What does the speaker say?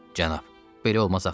Cənab, belə olmaz axı.